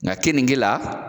Nga kenike la